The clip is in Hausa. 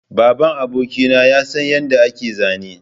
Babban abokina ya san yadda ake zane